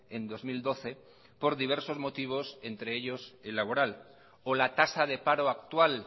en dos mil doce por diversos motivos entre ellos el laboral o la tasa de paro actual